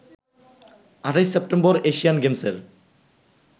২৮ September Asian গেমসের